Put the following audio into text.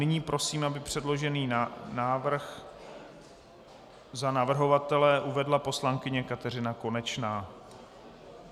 Nyní prosím, aby předložený návrh za navrhovatele uvedla poslankyně Kateřina Konečná.